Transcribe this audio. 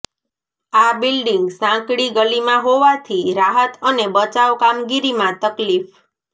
આ બિલ્ડિંગ સાંકડી ગલીમાં હોવાથી રાહત અને બચાવ કામગીરીમાં તકલીફ